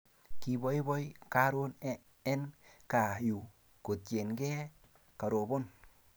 Kipoipoi karon en kaa yu kotienge karoban